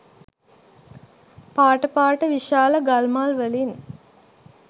පාට පාට විශාල ගල් මල් වලින්.